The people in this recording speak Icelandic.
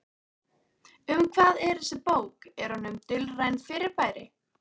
Um hvað er þessi bók, er hún um dulræn fyrirbæri?